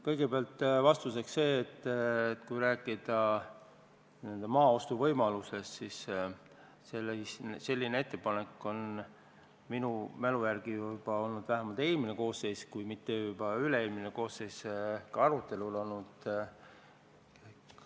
Kõigepealt ütlen vastuseks seda, et kui rääkida maa ostu võimalusest, siis selline ettepanek on minu mälu järgi juba eelmise koosseisu ajal – kui mitte üle-eelmise koosseisu ajal – arutelu all olnud.